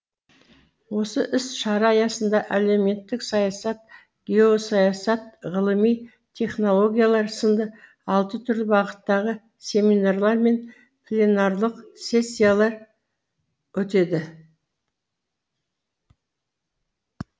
осы іс шара аясында әлеуметтік саясат геосаясат ғылыми технологиялар сынды алты түрлі бағыттағы семинарлар мен пленарлық сессиялар өтеді